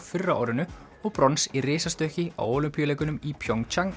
fyrr á árinu og brons í risastökki á Ólympíuleikunum í